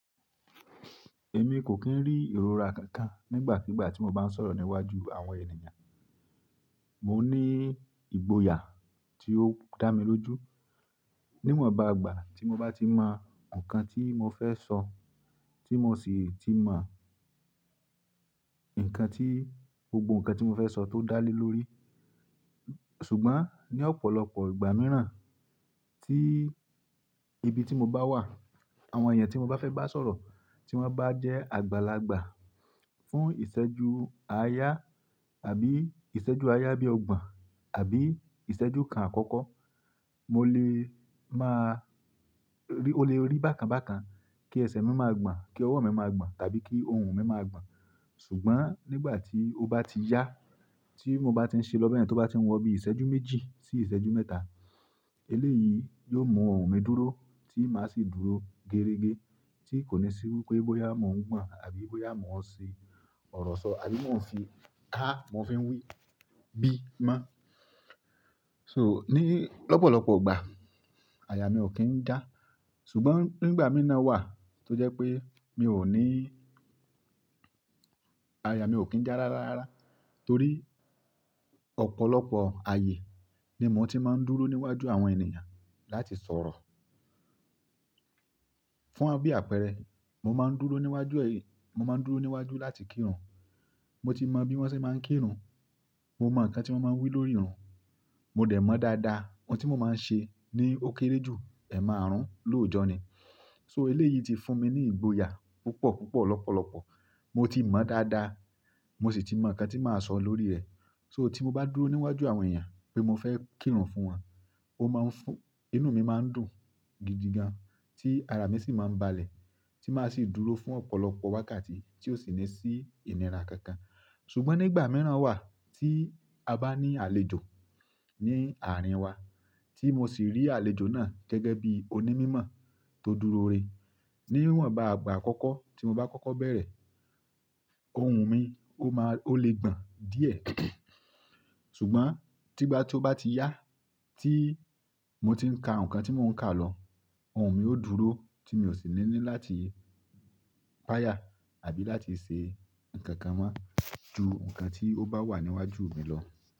Èmi kò kín rí ìrora kankan nígbàkígbà tí mo bá ń sọ̀rọ̀ níwájú àwọn ènìyàn. Mo ní ìgboyà tí ó dá mi lójú. Níwọ̀nba ìgbà tí mo bá ti mọ nǹkan tí mo fẹ́ sọ, tí mo sì ti mọ nǹkan tí gbogbo nǹkan tí mo fẹ́ sọ tó dá lé lórí. Ṣùgbọ́n ní ọ̀pọ̀lọpọ̀ ìgbà mìíràn tí ibi tí mo bá wà, àwọn èèyàn tí mo bá fẹ́ bá sọ̀rọ̀ tí wọ́n bá jẹ́ àgbàlagbà fún ìṣẹ́jú àáyá àbí ìṣẹ́jú àáyá bí ogbọ̀n àbí ìṣẹ́jú kan àkọ́kọ́, mo lè máa rí, o lè rí bákan bákan kí ẹsẹ̀ mi máa gbọ̀n, kí ọwọ́ mi máa gbọ̀n tàbí kí ohùn mi máa gbọ̀n. Ṣùgbọ́n nígbà tí ó bá ti yá, tí mo bá ti ń ṣe lọ́ bẹ́yẹn tó bá ti n wọ bí i ìṣẹ́jú méjì sí ìṣẹ́jú mẹ́ta, eléyìí yóò mú ohùn mi dúró tí máa sì dúró gerege tí kò ní sí wípé bóyá mò ń gbọ̀n àbí bóyá mò ń ṣi ọ̀rọ̀ sọ àbí mò ń fi ká, mò ń fi wí bí mọ́. So ní lọ́pọ̀lọpọ̀ ìgbà, àyà mi ò kín ń já. Ṣùgbọ́n nígbà mí ì náà wà tó jẹ́ pé mi ò ní–àyà mi ò kín já rárá rárá torí ọ̀pọ̀lọpọ̀ ayé ni mò ń ti máa ń dúró níwájú àwọn ènìyàn láti sọ̀rọ̀. Fún bí àpẹẹrẹ, mo máa ń dúró níwájú èyí, mo máa ń dúró níwájú láti kírun, mo ti mọ bí wọ́n ṣe máa ń kírun, mo mọ nǹkan tí wọ́n máa ń wí lórí ìrun, mo dẹ̀ mọ̀ dáadáa ohun tí mo máa ń ṣe ni ó kéré jù ẹ̀máàrún lóòjọ́ ni. So eléyìí ti fún mi ní ìgboyà púpọ̀ púpọ̀ lọ́pọ̀lọpọ̀. Mo ti mọ̀ dáadáa, mo sì ti mọ nǹkan tí màá sọ lórí rẹ̀. So tí mo bá dúró níwájú àwọn èèyàn pé mo fẹ́ kírun fún wọn, ó máa ń fún, inú mi máa ń dùn gidi gan tí ara mi sì máa ń balẹ̀ tí màá sì dúró fún ọ̀pọ̀lọpọ̀ wákàtí tí ò sì ní sí ìnira kankan. Ṣùgbọ́n nígbà mìíràn wà tí a bá ní àlejò ní àárín wa tí mo sì rí àlejò náà gẹ́gẹ́ bí onímímọ̀ tó dúró rè. Níwọ̀nba àgbà àkọ́kọ́ tí mo bá kọ́kọ́ bẹ̀rẹ̀, ohùn mi ó máa, ó lè gbọ̀n díẹ̀. Ṣùgbọ́n tígbà tí ó bá ti yá tí mo ti ń ka nǹkan tí mò ń kà lọ, ohùn mi ó dúró tí mi ò sì ní ní láti páyà àbí láti ṣe nǹkan kan mọ́ ju nǹkan tí ó bá wà níwájú mi lọ.